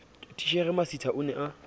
titjhere masitha o ne a